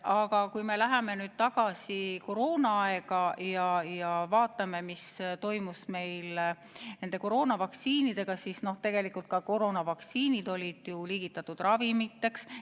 Aga kui me läheme tagasi koroonaaega ja vaatame, mis toimus meil koroonavaktsiinidega, siis tegelikult ka koroonavaktsiinid olid ju liigitatud ravimiteks.